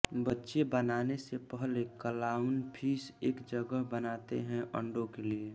बच्चे बनाने से पहले क्लाउनफ़िश एक जगह बनाते हैं अंडों के लिए